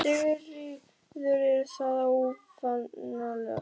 Sigríður: Er það óvanalegt?